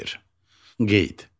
Qeyd.